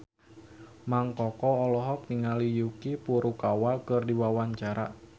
Mang Koko olohok ningali Yuki Furukawa keur diwawancara